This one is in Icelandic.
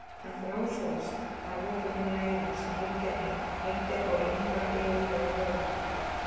Hann frásogast að lokum inn í æðar sem liggja á innra yfirborði höfuðkúpunnar.